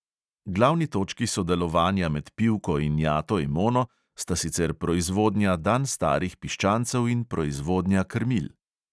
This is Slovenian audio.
Glavni točki sodelovanja med pivko in jato emono sta sicer proizvodnja dan starih piščancev in proizvodnja krmil.